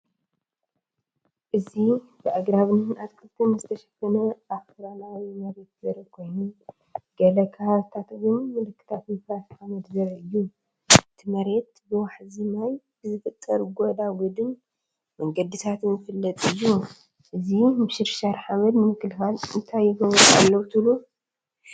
እዚ ብኣግራብን ኣትክልትን ዝተሸፈነ ኣኽራናዊ መሬት ዘርኢ ኮይኑ፡ ገለ ከባቢታት ግን ምልክታት ምፍራስ ሓመድ ዘርኢ እዩ። እቲ መሬት ብዋሕዚ ማይ ብዝፍጠር ጎዳጉዲን መንገድታትን ዝፍለጥ እዩ። እዚ ምሽርሻር ሓመድ ንምክልኻል እንታይ ይገብሩ ኣለዉ ትብሉ?